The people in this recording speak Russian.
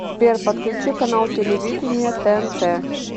сбер подключи канал телевидения тнт